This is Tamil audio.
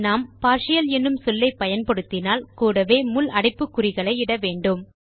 நாம் பார்ட்டியல் என்னும் சொல்லை பயன்படுத்தினால் கூடவே முள் அடைப்புக்குறிகளை இட வேண்டும்